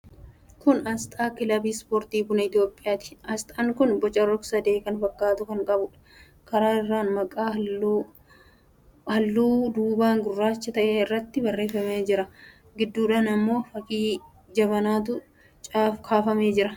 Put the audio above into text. Kun aasxaa Kiliba Ispoortii Buna Itiyoophiyaati. Aasxaan kun boca rog-sadee kan fakkaatu kan qabuudha. Karaa irraan maqaan halluu adiidhaan halluu duubaa gurraacha ta'e irratti barreeffamee jira. Gidduudhaan immoo fakkii jabanaatu kaafamee jira.